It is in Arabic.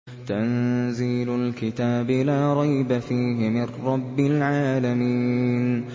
تَنزِيلُ الْكِتَابِ لَا رَيْبَ فِيهِ مِن رَّبِّ الْعَالَمِينَ